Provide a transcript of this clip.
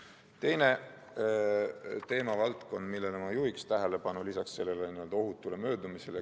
On veel teinegi teemavaldkond, millele ma ohutu möödumise kõrval tähelepanu juhiksin.